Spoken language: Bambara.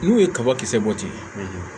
N'u ye kabakisɛ bɔ ten